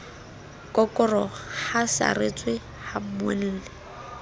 kokoroha a saretswe ha mmuelli